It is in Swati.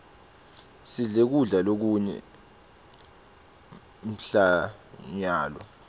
sidle kudla lokune mphlonyalo